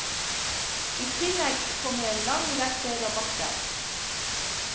I tillegg kommer en lang rekke rabatter.